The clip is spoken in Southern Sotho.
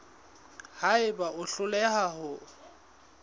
ha eba o hloleha ho